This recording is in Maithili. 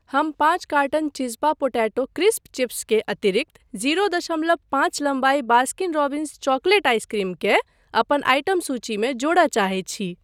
हम पाँच कार्टन चिज़्ज़पा पोटैटो क्रिस्प्स चिप्स के अतिरिक्त जीरो दशमलव पाँच लम्बाई बास्किन रोब्बिंस चॉकलेट आइसक्रीम केँ अपन आइटम सूचीमे जोड़य चाहैत छी।